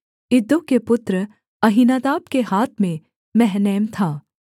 इद्दो के पुत्र अहीनादाब के हाथ में महनैम था